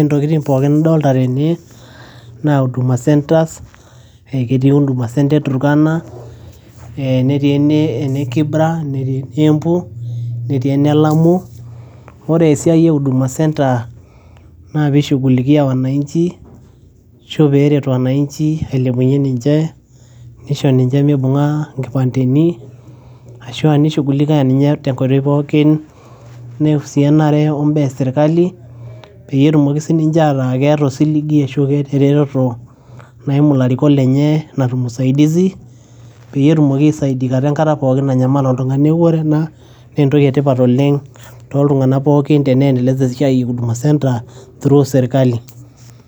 ntokitin pookin nidolta tene naa huduma centres eketii huduma centre e turkana ee netii eh netii ene, ene kibra netii ene embu netii ene lamu wore esiai e huduma centre naa pishugulikia wananchi ashu peret wananchi ailepunyie ninche nisho ninche mibung'a inkipandeni ashua nishugulika ninye tenkoitoi pookin neusianare ombaa esirkali peyie etumoki sininche ataa keeta osiligi ashu keeta eretoto naimu ilarikok lenye natum usaidizi peyie etumoki aisaidikata enkata pookin nanyamal oltung'ani neeku ore ena naa entoki etipat oleng toltung'anak pookin teneendeleza esiai e huduma centre through serkali.